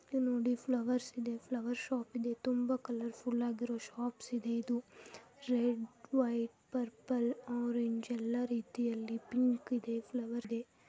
ಇದು ನೋಡಿ ಫ್ಲವರ್ಸ್ ಇದೆ ಫ್ಲವರ್ಸ್ ಶಾಪ್ ಇದೆ ತುಂಬ ಕಲರ್ ಫುಲ್ ಆಗಿರೋ ಶಾಪ್ಸ್ ಇದೆ ಇದು ರೆಡ್ ವೈಟ್ ಪರ್ಪಲ್ ಆರೆಂಜ್ ಎಲ್ಲ ರೀತಿಯಲ್ಲಿ ಪಿಂಕ್ ಇದೆ ಫ್ಲವರ್ಸ್ ಇದೆ.